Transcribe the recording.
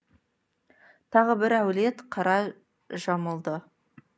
тағы бір әулет қара жамылды